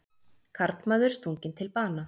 Karlmaður stunginn til bana